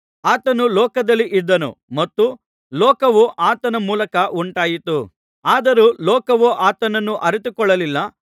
ಆತನು ಲೋಕದಲ್ಲಿ ಇದ್ದನು ಮತ್ತು ಲೋಕವು ಆತನ ಮೂಲಕ ಉಂಟಾಯಿತು ಆದರೂ ಲೋಕವು ಆತನನ್ನು ಅರಿತುಕೊಳ್ಳಲಿಲ್ಲ